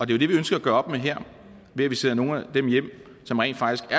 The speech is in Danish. det vi ønsker at gøre op med her ved at vi sender nogle af dem hjem som rent faktisk